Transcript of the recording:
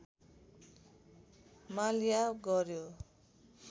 माल्या गर्‍यो